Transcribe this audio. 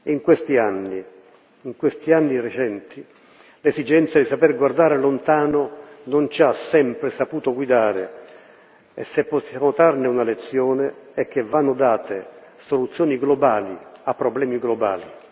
In questi anni recenti, l'esigenza di saper guardare lontano non ci ha sempre saputo guidare, e se possiamo trarne una lezione e che vanno date soluzioni globali a problemi globali.